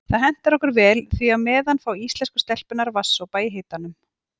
Það hentar okkur vel því á meðan fá íslensku stelpurnar vatnssopa í hitanum.